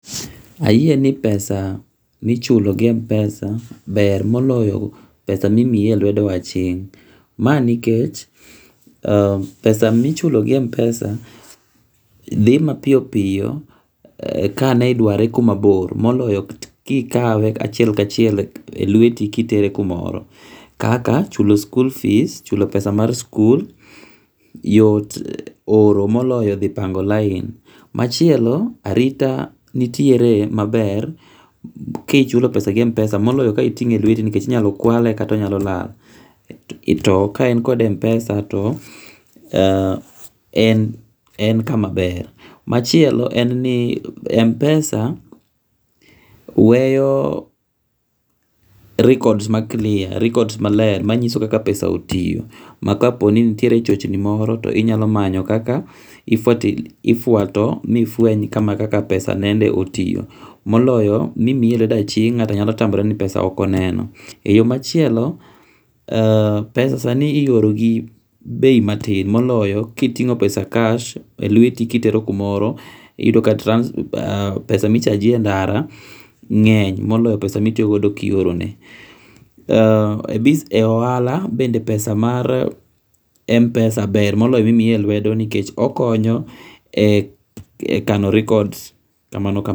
Ayie ni pesa ma ichulo gi M-pesa ber moloyo pesa ma imiyi e lwedo aching' pesa ma ichulo gi Mpesa thi ma piyo piyo ka ni dware kumabor moloyo kikawe kachiel kachiel e lweti kitere kumoro kaka chulo school fees chulo pesa mar school yot oro moloyo thi mango' lain, machielo arita nitiere maber kichulo pesa gi Mpesa moloyo ka otinge' e lweti nikech inyalo kwale kata onyalo lal, to ka en kode e Mpesa to en kama ber, machielo en ni Mpesa weyo records ma clear, records[ maler manyiso kaka pesa otiyo ma kaponi nitiere chochni moro to inyalo manyo kaka ifuato mifwenya kama kaka pesa nende otiyo, moloyo mimiyi lwedo aching' nga'to nyalo tamore ni pesa okoneno, e yo machielo pesa sani iyoro gi bei matin moloyo kitingo' pesa cash e lweti kitero kumoro iyudo ka pesa ma ichaji e ndara nge'ny moloyo pesa mitiyo godo ka iorone e ohala bende pesa mar Mpesa ber moloyo ma imiyi e lwedo nikech okonyo e kano records kamano kamano.